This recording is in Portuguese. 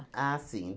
Ah, sim.